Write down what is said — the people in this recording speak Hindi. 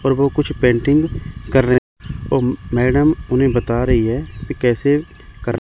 और वो कुछ पेंटिंग कर रहे और मैडम उन्हें बता रही है कि कैसे कर--